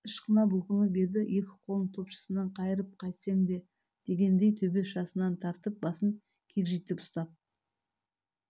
ышқына бұлқынып еді екі қолын топшысынан қайырып қайтсең де дегендей төбе шашынан тартып басын кекжитіп ұстап